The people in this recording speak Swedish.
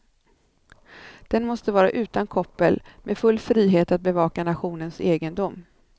Den måste vara utan koppel, med full frihet att bevaka nationens egendom.